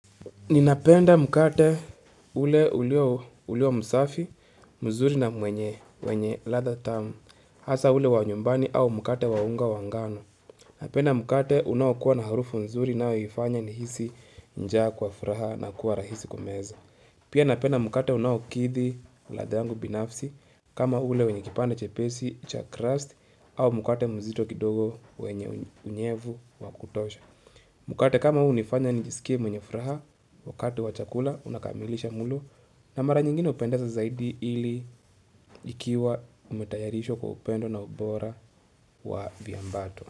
Ninapenda mkate ule ulio msafi, mzuri na mwenye ladha tamu, hasa ule wa nyumbani au mkate wa unga wa ngano. Napenda mkate unaokuwa na harufu mzuri inayonifanya nihisi njaa kwa furaha na kuwa rahisi kumeza. Pia napenda mkate unaokithi ladha yangu binafsi kama ule wenye kipande chepesi, cha crust au mkate mzito kidogo wenye unyevu wa kutosha. Mkate kama huu unifanya njisikie mwenye furaha wakati wa chakula unakamilisha mulo na mara nyingine upendeza zaidi ili ikiwa umetayarishwa kwa upendo na ubora wa viambato.